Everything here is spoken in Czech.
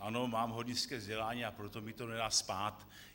Ano, mám hornické vzdělání, a proto mi to nedá spát.